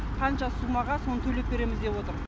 қанша сумаға соны төлеп береміз деп отыр